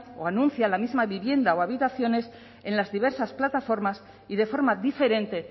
o anuncian la misma vivienda o habitaciones en las diversas plataformas y de forma diferente